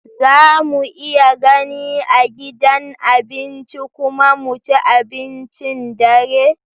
Za mu iya gani a gidan abinci kuma mu ci abincin dare?